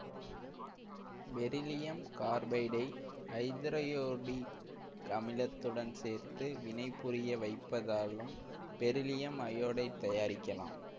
beryllium கார்பைடை ஐதரயோடிக்கமிலத்துடன் சேர்த்து வினைபுரிய வைப்பதாலும் பெரிலியம் அயோடைடு தயாரிக்கலாம்